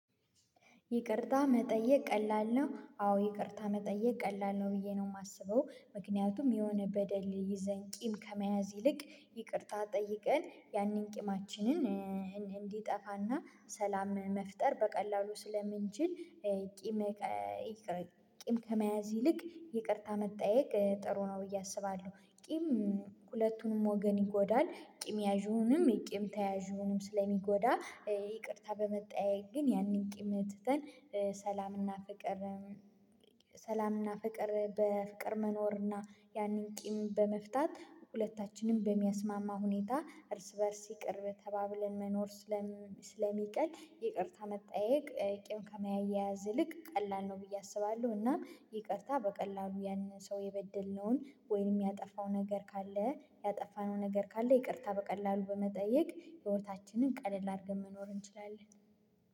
ይቅርታ መጠየቅ ቀላል ነው። አዎ ይቅርታ መጠየቅ ቀላል ነው ብዬ ነው የማስበው ምክንያቱም የሆነ በደል ይዘን ቂም ከመያዝ ይልቅ ይቅርታ ጠይቀን ያንን ቂማችንን እንዲጠፋና ሰላም መፍጠር በቀላሉ ስለምንችል። ቂም ቂም ከመያዝ ይልቅ ይቅርታ መጠየቅ ጥሩ ነው ብዬ አስባለሁ። ቂም ሁለቱንም ወገን ይጎዳል ቅም ያዥውንም የቅም ተያዥውንም ስለሚጎዳ ይቅርታ በመጠያየቅ ግን ያንን ቅም ትተን። ሰላምና ፍቅር በፍቅር መኖርና ያንን ቂም በመፍታት ሁለታችንም በሚያስማማ ሁኔታ እርስ በእርስ ይቅር ተባብለን መኖር። ስለሚቀል ይቅርታ መጣየቅ ቄም ከመያያዝ ይልቅ ቀላል ነው ብዬ አስባለሁ። እና ይቅርታ በቀላሉ ያንን ሰው የበደልነውን ወይም ያጠፋው ነገር ካለ ያጠፋነው ነገር ካለ ይቅርታ በቀላሉ በመጠየቅ ህይወታችንን ቀለል አድርገን መኖር እንችላለን።